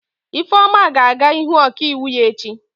Ifeoma ga-aga ịhụ ọkaiwu ya echi.